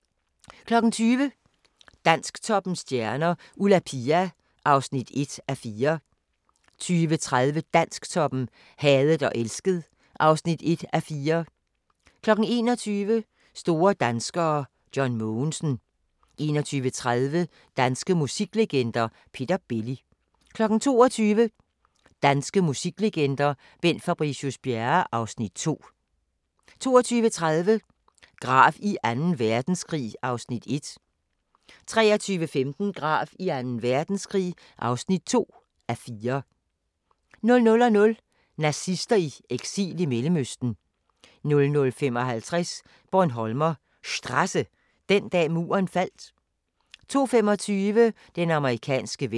20:00: Dansktoppens stjerner: Ulla Pia (1:4) 20:30: Dansktoppen: Hadet og elsket (1:4) 21:00: Store danskere: John Mogensen 21:30: Danske musiklegender: Peter Belli 22:00: Danske musiklegender: Bent Fabricius-Bjerre (Afs. 2) 22:30: Grav i Anden Verdenskrig (1:4) 23:15: Grav i Anden Verdenskrig (2:4) 00:00: Nazister i eksil i Mellemøsten 00:55: Bornholmer Strasse – Den dag Muren faldt 02:25: Den amerikanske ven